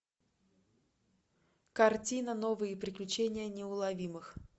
картина новые приключения неуловимых